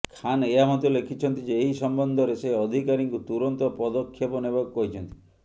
ଖାନ ଏହା ମଧ୍ୟ ଲେଖିଛନ୍ତି ଯେ ଏହି ସମ୍ବନ୍ଧରେ ସେ ଅଧିକାରୀଙ୍କୁ ତୁରନ୍ତ ପଦକ୍ଷେପନେବାକୁ କହିଛନ୍ତି